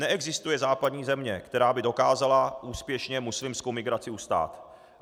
Neexistuje západní země, která by dokázala úspěšně muslimskou migraci ustát.